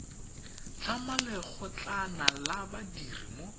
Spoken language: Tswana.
tlhama lekgotlana la badiri mo